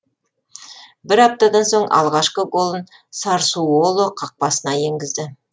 бір аптадан соң алғашқы голын сассуоло қақпасына енгізді